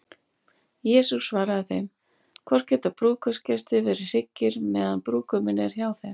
Jesús svaraði þeim: Hvort geta brúðkaupsgestir verið hryggir, meðan brúðguminn er hjá þeim?